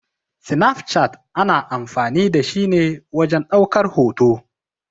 Snaf chat ana amfani da shi ne wajen ɗaukar hoto.